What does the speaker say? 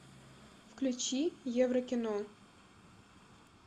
включи еврокино